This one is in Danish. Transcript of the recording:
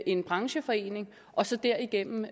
en brancheforening og så derigennem